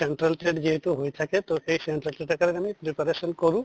central TET যিহেতু হৈয়ে থাকে তʼ এই central TET ৰ কাৰণে preparation কৰোঁ